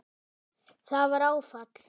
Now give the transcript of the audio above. Það var áfall.